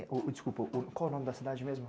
o, desculpa, qual o nome da cidade mesmo?